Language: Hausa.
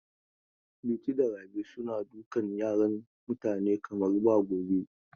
Liti da Rabi suna dukan yaran mutane kamar ba gobe.